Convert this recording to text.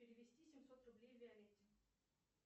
перевести семьсот рублей виолетте